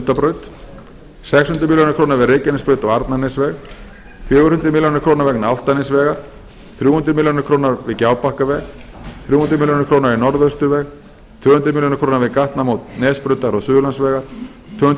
sundabraut sex hundruð milljóna króna við reykjanesbraut og arnarnesveg fjögur hundruð milljóna króna vegna álftanesvegar þrjú hundruð milljóna króna við gjábakkaveg þrjú hundruð milljóna króna í norðausturveg tvö hundruð milljóna króna við gatnamót nesbrautar og suðurlandsvegar tvö hundruð milljóna